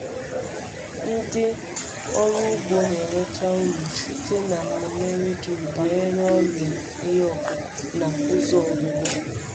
Ndị ọrụ ugbo na-enweta uru site na mmemme redio banyere ọrịa ihe ọkụkụ na ụzọ ọgwụgwọ.